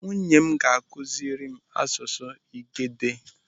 Nwunye m ga-akụziri m asụsụ Igede.